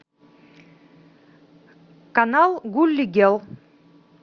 канал гулли герл